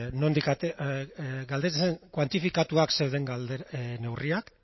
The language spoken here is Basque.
kuantifikatuak zeuden neurriak